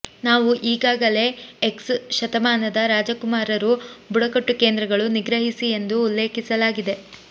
ನಾವು ಈಗಾಗಲೇ ಎಕ್ಸ್ ಶತಮಾನದ ರಾಜಕುಮಾರರು ಬುಡಕಟ್ಟು ಕೇಂದ್ರಗಳು ನಿಗ್ರಹಿಸಿ ಎಂದು ಉಲ್ಲೇಖಿಸಲಾಗಿದೆ